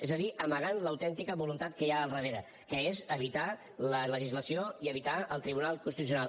és a dir amagant l’autèntica voluntat que hi ha al darrere que és evitar la legislació i evitar el tribunal constitucional